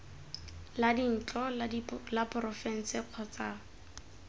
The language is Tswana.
la dintlo la porofense kgotsa